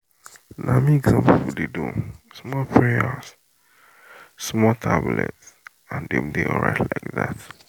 na mix some people dey do — small prayer small tablet — and dem dey alright like that.